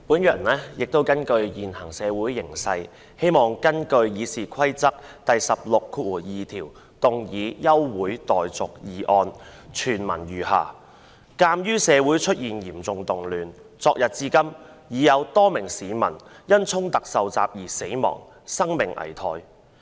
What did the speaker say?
主席，因應現時的社會形勢，我希望根據《議事規則》第162條動議休會待續議案，措辭如下："鑒於社會出現嚴重動亂，昨日至今已有多名市民因衝突受襲而死亡，生命危殆。